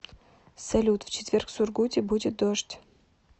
салют в четверг в сургуте будет дождь